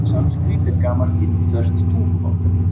Sanskrít er gamalt indverskt tungumál.